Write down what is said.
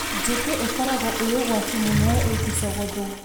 Njũkĩ ikoragwo i ũgwati mũnene ingĩcogothwo.